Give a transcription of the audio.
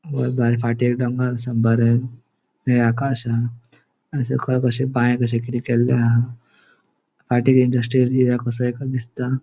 घर बरे फाटी डोंगर हा बरे निळे आकाश हा आणि सकल कशे बाय कशी किते केल्ली हा फाटी इन्डस्ट्रीयल एरिया कसो दिसता.